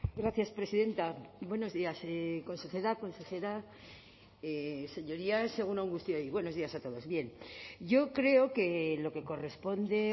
gracias presidenta buenos días consejera consejera señorías egun on guztioi buenos días a todos bien yo creo que lo que corresponde